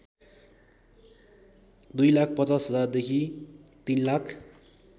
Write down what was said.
२५०००० देखि ३०००००